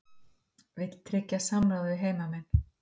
Vill tryggja samráð við heimamenn